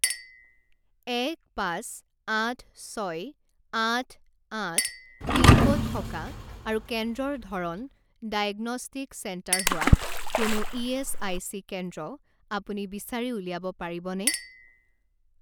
এক পাঁচ আঠ ছয় আঠ আঠ পিনক'ড থকা আৰু কেন্দ্ৰৰ ধৰণ ডায়েগনষ্টিক চেণ্টাৰ হোৱা কোনো ইএচআইচি কেন্দ্ৰ আপুনি বিচাৰি উলিয়াব পাৰিবনে?